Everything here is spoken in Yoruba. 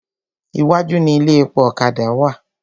Iwájú ni ilé epo ọ̀kadà wà.